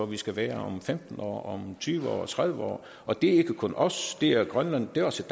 vi skal være om femten år om tyve år tredive år og det er ikke kun os det er grønland og det er også